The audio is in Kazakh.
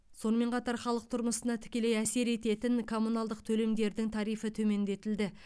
сонымен қатар халық тұрмысына тікелей әсер ететін коммуналдық төлемдердің тарифі төмендетілді